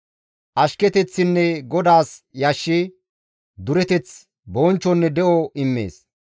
Ashketeththinne GODAAS yashshi, dureteth, bonchchonne de7o immees.